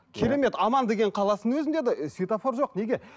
керемет оман деген қаласының өзінде де цветофор жоқ неге